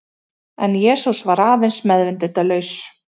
En Jesús var aðeins meðvitundarlaus.